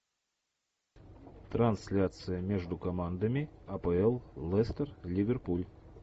трансляция между командами апл лестер ливерпуль